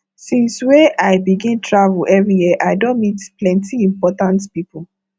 since wey i begin travel every year i don meet plenty important pipo